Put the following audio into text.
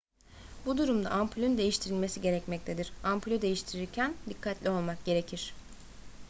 bu durumda ampulün değiştirilmesi gerekmektedir ampulü değiştirirken dikkatli olmak gerekir